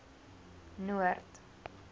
noord